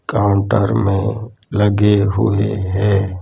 Counter में लगे हुए हैं।